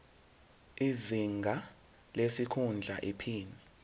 izinga lesikhundla iphini